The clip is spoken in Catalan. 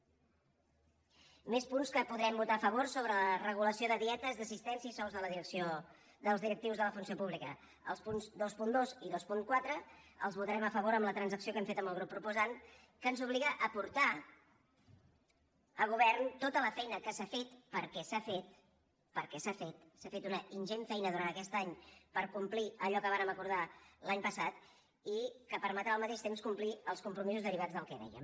més punts que podrem votar a favor sobre la regulació de dietes d’assistència i sous dels directius de la funció pública els punts vint dos i vint quatre els votarem a favor amb la transacció que hem fet amb el grup proposant que ens obliga a portar al govern tota la feina que s’ha fet perquè s’ha fet perquè s’ha fet s’ha fet una ingent feina durant aquest any per complir allò que vàrem acordar l’any passat i que permetrà al mateix temps complir els compromisos derivats del que dèiem